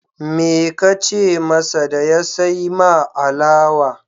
Me ka ce masa da ya sai ma alawa?